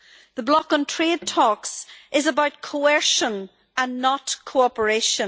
The block on trade talks is about coercion and not cooperation.